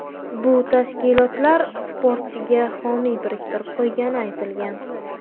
Bu tashkilotlar sportchiga homiy biriktirib qo‘ygani aytilgan.